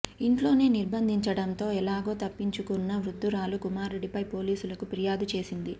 ఇంట్లోనే నిర్బంధించడంతో ఎలాగో తప్పించుకున్న వృద్ధురాలు కుమారుడిపై పోలీసులకు ఫిర్యాదు చేసింది